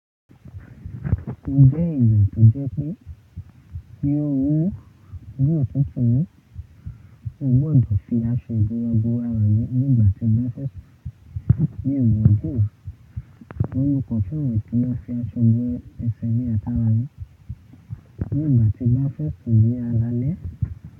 O jẹ́ ìyà tó jẹ́ pé kí o wú bí òtútù ni, o gbọdọ̀ fi aṣọ ìbora bora rẹ nígbà tí bá fẹ́ sùn. Ní ìwádìí, wọ́n yóò kọ ọ fún ìwọ̀n kí o fi aṣọ gbẹ́ ẹsẹ̀ ní ata rẹ nígbà tí bá fẹ́ sùn ní alaalẹ́.